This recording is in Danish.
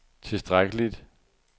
tilstrækkeligt